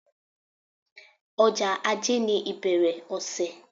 Ọjọ́ ajé ni ìbẹ̀rẹ̀ ọ̀sẹ̀.